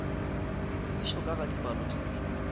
ditsebišo ka ga dipalo di